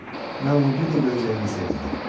Mən onu bir də görəcəyimə sevindim.